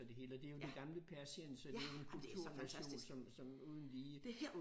Og det hele og det jo det gamle Persien så det jo en kulturnation som som uden lige